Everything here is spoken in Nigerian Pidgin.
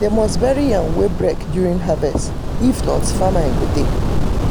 them must bury yam wey break during harvest if not famine go dey.